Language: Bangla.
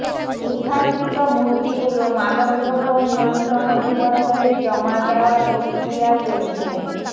উদ্ধারকৃত মূর্তিগুলো মাদকদ্রব্য নিয়ন্ত্রণ অধিদপ্তরে জমা দেওয়ার প্রক্রিয়া চলছে